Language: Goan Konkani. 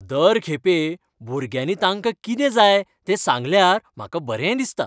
दर खेपे भुरग्यांनी तांका कितें जाय तें सांगल्यार म्हाका बरें दिसता.